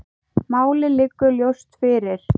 Málið liggur ljóst fyrir.